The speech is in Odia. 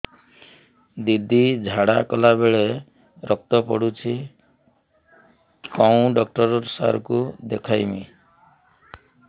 ଦିଦି ଝାଡ଼ା କଲା ବେଳେ ରକ୍ତ ପଡୁଛି କଉଁ ଡକ୍ଟର ସାର କୁ ଦଖାଇବି